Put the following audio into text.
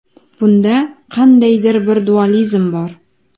Bunda qandaydir bir dualizm bor.